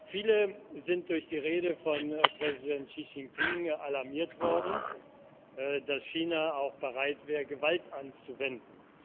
Viele sind durch die Rede von Präsident Xi Jinping alarmiert worden, dass China auch bereit wäre, Gewalt anzuwenden.